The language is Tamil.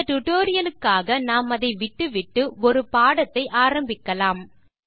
இந்த tutorialக்காக நாம் அதை விட்டுவிட்டு ஒரு பாடத்தை ஆரம்பிக்கலாம்